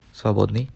свободный